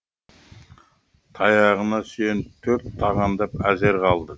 таяғына сүйеніп төрт тағандап әзер қалды